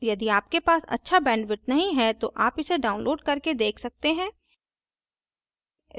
यदि आपके पास अच्छा bandwidth नहीं है तो आप इसे download करके देख सकते हैं